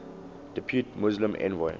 depute muslim envoy